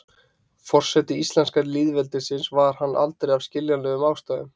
Forseti íslenska lýðveldisins var hann aldrei af skiljanlegum ástæðum.